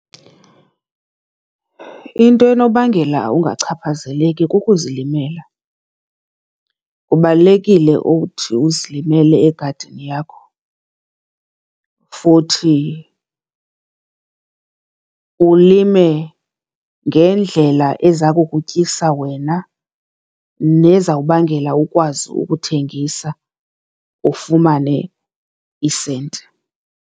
Into enobangela ungachaphazeleki kukuzilimela. Kubalulekile ukuthi uzilimele egadini yakho futhi ulime ngendlela eza kukutyisa wena nezawubangela ukwazi ukuthengisa, ufumane iisenti.